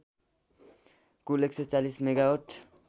Kul १४० megawatt